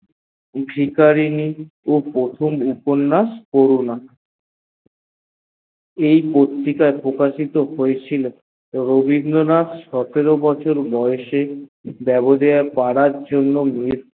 ভিকারিনী ও প্রথন ছোট উপন্যাস করুনা এই পত্রিকায় প্রকাশিত হয়েছিল রবীন্দ্রনাথ মাত্র সতেরো বছর বয়েসে পড়ার জন্য